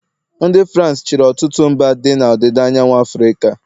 ndị Farans e chịrị ọtụtụ mba dị na ọdịda anyanwụ Afrịka